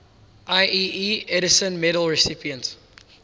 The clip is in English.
ieee edison medal recipients